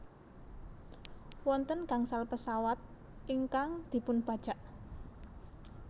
Wonten gangsal pesawat ingkang dipunbajak